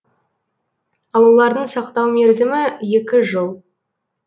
ал олардың сақтау мерзімі екі жыл